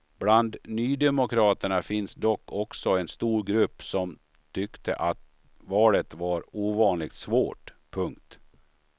Bland nydemokraterna finns dock också en stor grupp som tyckte att valet var ovanligt svårt. punkt